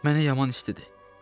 Mənə yaman istidir.